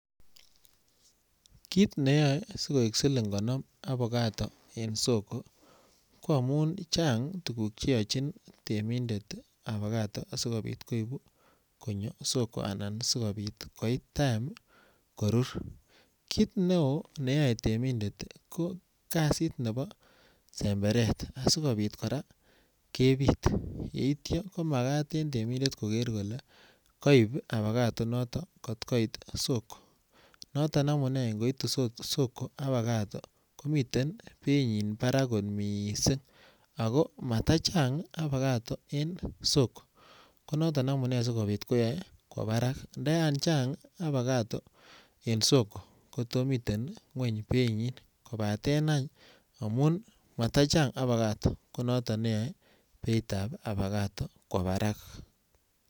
Kit netoe sikoik siling konom abacato en soko ko amun chang tuguk che yochin temindet abacato asikopit koibuu konyo soko ana asikopit koit time korur, kit ne oo neyoe temindet ko nebo semberet asikopit koraa kepit yeityo komagat en temindet kolee koib abacato kot koit soko, noton amune ngoitu abacato soko komii benyin barak kot missing ako mata chang abacato en soko ko noton amune si koyoe kwo barak. Nto yan chang abacato en soko koto miten kweny beinyin kobaten any matachang abacato ko noton neyoe kwo barak